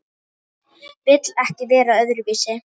Vill ekki vera öðruvísi.